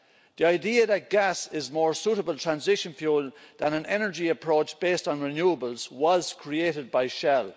The idea that gas is a more suitable transition fuel than an energy approach based on renewables was created by Shell.